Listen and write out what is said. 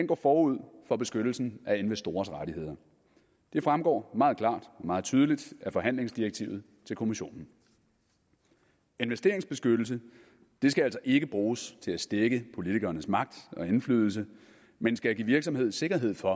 går forud for beskyttelsen af investorers rettigheder det fremgår meget klart og meget tydeligt af forhandlingsdirektivet til kommissionen investeringsbeskyttelse skal altså ikke bruges til at stække politikernes magt og indflydelse men skal give virksomheder sikkerhed for